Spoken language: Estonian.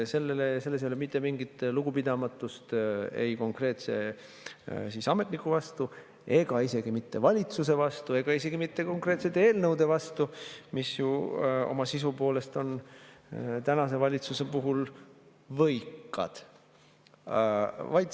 Selles ei ole mitte mingit lugupidamatust ei konkreetse ametniku vastu ega isegi mitte valitsuse vastu ega isegi mitte konkreetsete eelnõude vastu, mis ju oma sisu poolest on tänase valitsuse puhul võikad.